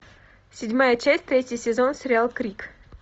седьмая часть третий сезон сериал крик